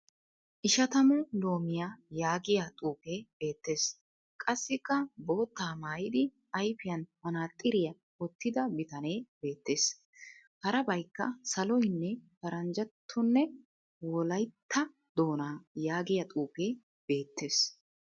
"Ishatamu loomiya" yaagiya xuufee beettes. Qassikka boottaa mayyidi ayifiyan manaaxxiriya wottida bitanee beettes. Harabayikka saloyinne " paranjjattonne wolayitta doonaa" yaagiya xuufee beettes.